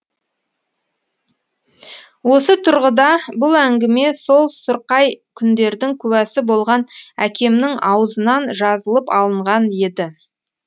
осы тұрғыда бұл әңгіме сол сұрқай күндердің куәсі болған әкемнің аузынан жазылып алынған еді